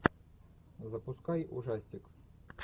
запускай ужастик